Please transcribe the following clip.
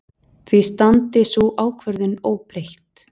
Því standi sú ákvörðun óbreytt.